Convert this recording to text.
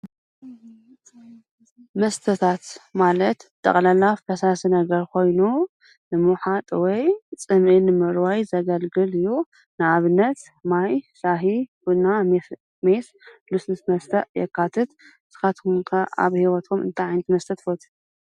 መስተታት ማለት ጠቅላላ ፈሳሲ ነገር ኮይኑ ብምዉሓጥ ወይ ፅምኢ ንምርዋይ ዘገልግል እዪ። ንአብነት ማይ፣ ሻሂ፣ ቡና፣ ሜስ፣ ፣ ልስሉስ መስተን የካትቱ ንስኩም ከ ኣብ ሂውትኩም ታይ ዓይነት መስተ ትፈትዪ?